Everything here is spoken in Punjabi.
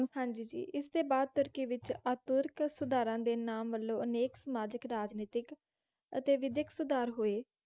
ਹਾਂਜੀ ਜੀ, ਇਸਦੇ ਬਾਅਦ ਤੁਰਕੀ ਵਿੱਚ ਅਤਾਤੁਰਕ ਸੁਧਾਰਾਂ ਦੇ ਨਾਮ ਵੱਲੋਂ ਅਨੇਕ ਸਮਾਜਿਕ ਰਾਜਨੀਤਕ ਅਤੇ ਵਿੱਦਿਅਕ ਸੁਧਾਰ ਹੋਏ।